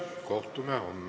Kohtume homme!